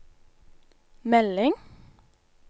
melding